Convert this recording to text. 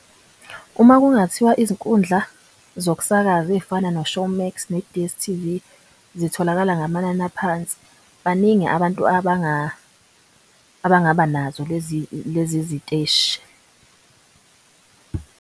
Uma kungathiwa izinkundla zokusakaza eyifana no-ShowMax, no-D_S_T_V zitholakala ngamanani aphansi. Baningi abantu abangaba nazo lezi ziteshi.